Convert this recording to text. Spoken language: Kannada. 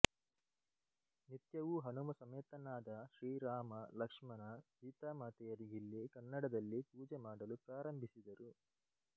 ನಿತ್ಯವೂ ಹನುಮ ಸಮೇತನಾದ ಶ್ರೀರಾಮ ಲಕ್ಷಣ ಸೀತಾಮಾತೆಯರಿಗಿಲ್ಲಿ ಕನ್ನಡದಲ್ಲಿ ಪೂಜೆ ಮಾಡಲು ಪ್ರಾರಂಭಿಸಿದರು